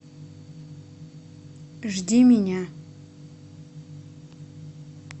жди меня